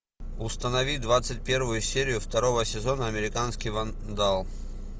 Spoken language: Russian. установи двадцать первую серию второго сезона американский вандал